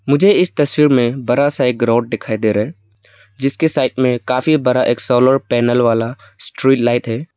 मुझे इस तस्वीर में बड़ा सा एक रॉड दिखाई दे रहा जीसके साइड में काफी बड़ा एक सोलर पैनल वाला स्ट्रीट लाइट है।